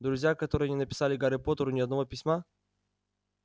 друзья которые не написали гарри поттеру ни одного письма